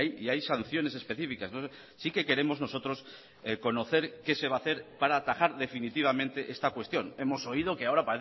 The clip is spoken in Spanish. y hay sanciones específicas sí que queremos nosotros conocer qué se va a hacer para atajar definitivamente esta cuestión hemos oído que ahora